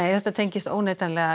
já þetta tengist óneitanlega